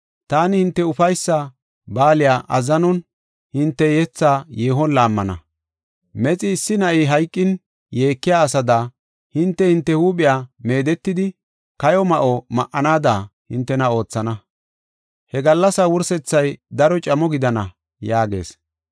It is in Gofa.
Taani hinte ufaysa baaliya azzanon, hinte yethaa yeehon laammana. Mexi issi na7i hayqin yeekiya asada, hinte hinte huuphiya meedetidi kayo ma7o ma7anada, hintena oothana. He gallasaa wursethay daro camo gidana” yaagees.